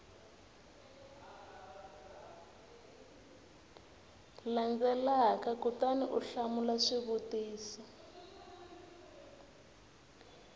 landzelaka kutani u hlamula swivutiso